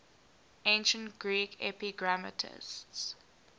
ancient greek epigrammatists